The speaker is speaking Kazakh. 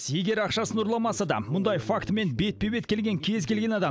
егер ақшасын ұрламаса да мұндай фактімен бетпе бет келген кез келген адам